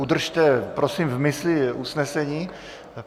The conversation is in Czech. Udržte, prosím, v mysli usnesení.